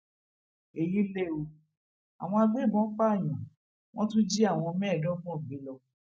èyí lẹ ọ àwọn agbégbọn pààyàn wọn tún jí àwọn mẹẹẹdọgbọn gbé lọ